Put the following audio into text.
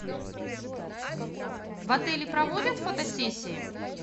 в отеле проводят фотосессии